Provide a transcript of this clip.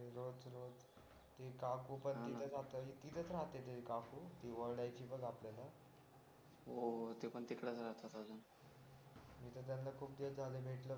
ते काकू पण ती काकू पण तिथेच राहते कारण ती काकू जी ओरडायचे बघ आपल्याला हो होती पण तिकडेच राहतात अजून मी त त्यांना खूप दिवस झालो भेटलो नाही